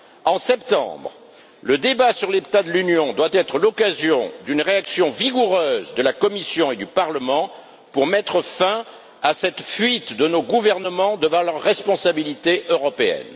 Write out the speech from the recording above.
En septembre, le débat sur l'état de l'Union doit être l'occasion d'une réaction vigoureuse de la Commission et du Parlement pour mettre fin à cette fuite de nos gouvernements devant leurs responsabilités européennes.